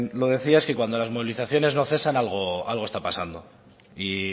lo decía y es que cuando las movilizaciones no cesan algo está pasando y